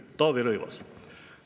"– Taavi Rõivas.